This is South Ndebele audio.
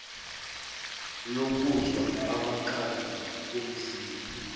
lokuzwa amakhaza komzimba